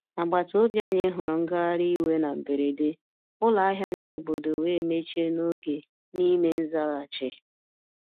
Agbata obi anyị huru ngagharị iwe na mberede, ụlọ ahịa ndi obodo wee mechie n'oge n'ime nzaghachi.